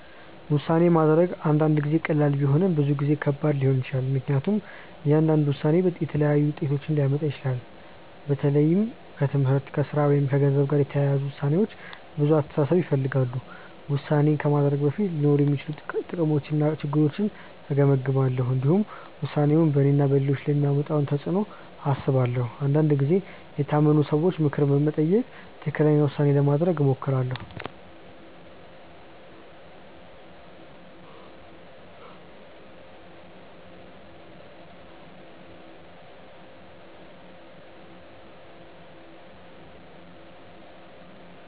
ውሳኔ ማድረግ አንዳንድ ጊዜ ቀላል ቢሆንም ብዙ ጊዜ ከባድ ሊሆን ይችላል። ምክንያቱም እያንዳንዱ ውሳኔ የተለያዩ ውጤቶችን ሊያመጣ ይችላል። በተለይ ከትምህርት፣ ከሥራ ወይም ከገንዘብ ጋር የተያያዙ ውሳኔዎች ብዙ አስተሳሰብ ይፈልጋሉ። ውሳኔ ከማድረጌ በፊት ሊኖሩ የሚችሉ ጥቅሞችንና ችግሮችን እገመግማለሁ። እንዲሁም ውሳኔው በእኔና በሌሎች ላይ የሚያመጣውን ተፅዕኖ አስባለሁ። አንዳንድ ጊዜ የታመኑ ሰዎችን ምክር በመጠየቅ ትክክለኛ ውሳኔ ለማድረግ እሞክራለሁ.